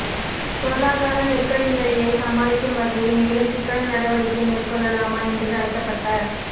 பொருளாதார நெருக்கடிநிலையை சமாளிக்கும் வகையில் மேலும் சிக்கன நடவடிக்கை மேற்கொள்ளலாமா என்று நடத்தப்பட்ட